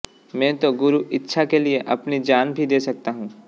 मैं तो गुरु इच्छा के लिए अपनी जान भी दे सकता हूं